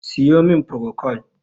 siyo min prokol!